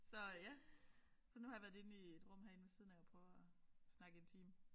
Så ja så nu har jeg været inde i et rum her inde ved siden af og prøve at snakke i en time